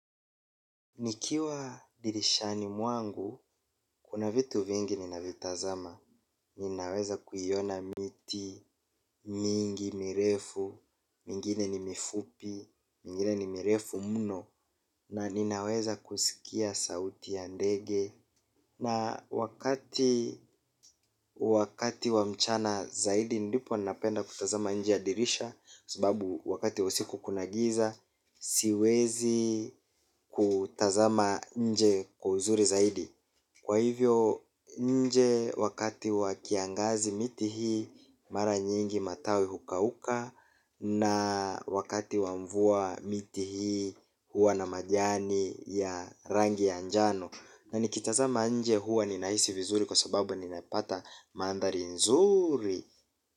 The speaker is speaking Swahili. Nikiwa dirishani mwangu, kuna vitu vingi ninavitazama. Ninaweza kuiona miti, mingi, mirefu, mingine ni mifupi, mingine ni mirefu muno, na ninaweza kusikia sauti ya ndege. Na wakati wakati wa mchana zaidi ndipo napenda kutazama nje ya dirisha sababu wakati wa usiku kuna giza siwezi kutazama nje kwa uzuri zaidi. Kwa hivyo nje wakati wa kiangazi miti hii mara nyingi matawi hukauka. Na wakati wa mvua miti hii hua na majani ya rangi ya njano. Na nikitazama nje huwa ninaisi vizuri kwa sababu ninaipata mandhari nzuri.